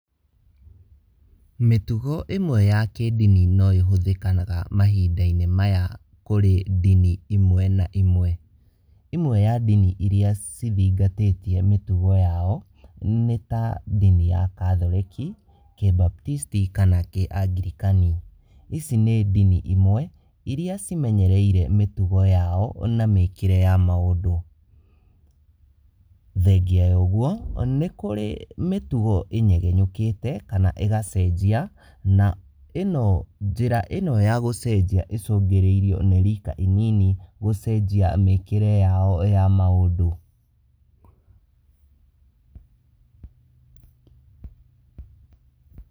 Mĩtugo ĩmwe ya kĩndini no ĩhũthĩkanaga mahinda-inĩ maya kurĩ ndini imwe na imwe. Ĩmwe ya ndini iria cithingatĩtie mitugo yao ni ta ndini ya Kathoreki, Kibaptisti kana Kiangirikani. Ici nĩ ndini imwe iria cimenyereire mĩtugo yao na mĩkĩre ya maũndũ. Thengia ya ũguo, nĩ kurĩ mĩtugo ĩnyegenyũkĩte kana ĩgacenjia na njĩra ĩno ya gũcenjia ĩcũngĩrĩirio nĩ rika inini gũcenjia mĩkĩre yao ya maũndũ.